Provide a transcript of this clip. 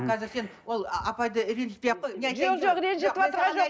қазір сен ол апайды ренжітпей ақ қой жоқ жоқ ренжітіп